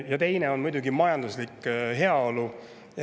Ja teine on muidugi majanduslik heaolu.